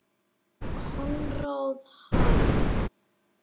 Konráð Hall.